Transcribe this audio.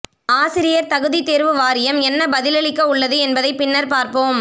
ஆசிரியர் தகுதி தேர்வு வாரியம் என்ன பதிலளிக்கவுள்ளது என்பதை பின்னர் பார்ப்போம்